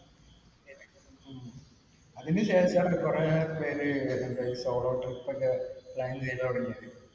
അതിനുശേഷമാണ് കുറേപ്പേര് solo trips ഒക്കെ plan ചെയ്തു തുടങ്ങിയത്.